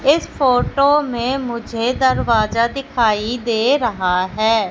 इस फोटो में मुझे दरवाजा दिखाई दे रहा है।